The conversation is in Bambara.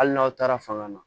Hali n'aw taara fanga na